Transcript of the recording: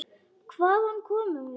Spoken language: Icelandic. Hvaðan komum við?